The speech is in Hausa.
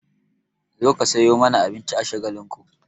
Zo ka sayo mana abinci a Shagalinku!